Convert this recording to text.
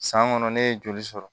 San kɔnɔ ne ye joli sɔrɔ